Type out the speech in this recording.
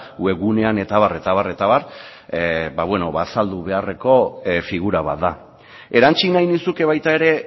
webgunean eta abar eta abar eta abar azaldu beharreko figura bat da erantsi nahi nizuke baita ere